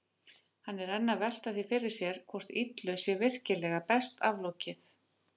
Hann er enn að velta því fyrir sér hvort illu sé virkilega best aflokið.